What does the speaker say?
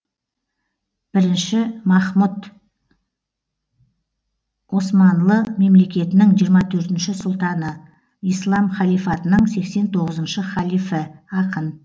бірінші махмұт османлы мемлекетінің жиырма төртінші сұлтаны ислам халифатының сексен тоғызыншы халифі ақын